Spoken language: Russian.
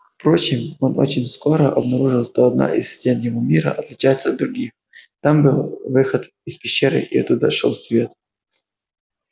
впрочем он очень скоро обнаружил что одна из стен его мира отличается от других там был выход из пещеры и оттуда шёл свет